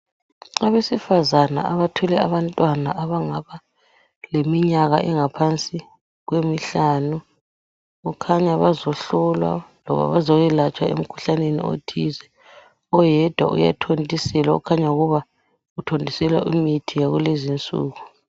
Abesifazane abathwele abantwana abangaba leminyaka engaphansi kwemihlanu kukhanya bazohlolwa loba bazoyelatshwa emkhuhlaneni othize oyedwa uyathontiselwa kukhanya ukuba uthontiselwa imithi yakulezinsuku.